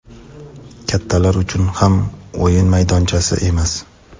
kattalar uchun ham o‘yin maydonchasi emas.